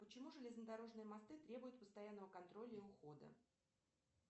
почему железнодорожные мосты требуют постоянного контроля и ухода